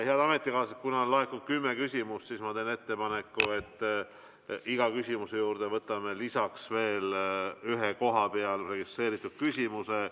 Head ametikaaslased, kuna on laekunud kümme küsimust, siis ma teen ettepaneku, et iga küsimuse juurde võtame lisaks veel ühe kohapeal registreeritud küsimuse.